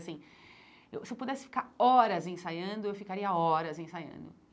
Assim eu Se eu pudesse ficar horas ensaiando, eu ficaria horas ensaiando.